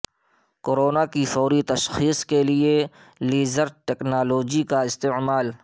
corona کی فوری تشخیص کے لئے لیزر ٹیکنالوجی کا استعمال